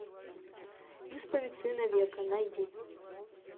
исповедь сына века найди